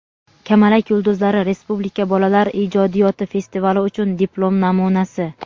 "Kamalak yulduzlari" respublika bolalar ijodiyoti festivali uchun diplom namunasi.